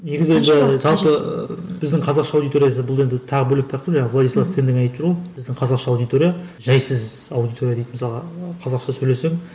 негізі енді жалпы біздің қазақша аудиториясы бұл енді тағы бөлек тақырып жаңағы владислав тен де айтып жүр ғой біздің қазақша аудитория жайсыз аудитория дейді мысалға қазақша сөйлесең